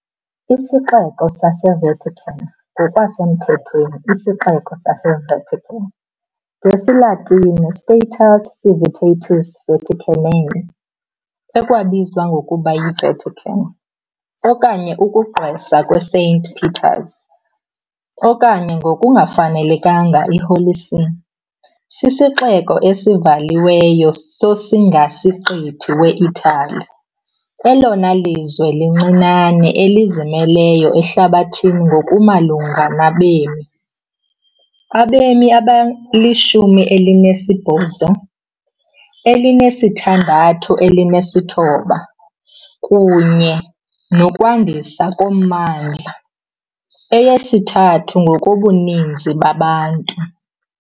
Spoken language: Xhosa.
IsiXeko saseVatican, ngokusemthethweni iSixeko saseVatican, ngesiLatini, Status Civitatis Vaticanae, ekwabizwa ngokuba yiVatican, okanye ukugqwesa kweSaint Peter's, okanye ngokungafanelekanga, iHoly See, sisixeko esivaliweyo sosingasiqithi weItali, elona lizwe lincinane elizimeleyo ehlabathini ngokumalunga nabemi, abemi abangama-869, kunye nokwandiswa kommandla, eyesithathu ngokobuninzi babantu.